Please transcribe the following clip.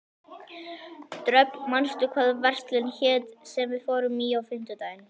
Dröfn, manstu hvað verslunin hét sem við fórum í á fimmtudaginn?